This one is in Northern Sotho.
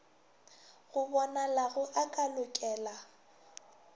go bonalago a ka lokela